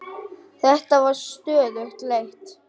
Þetta er stöðug leit!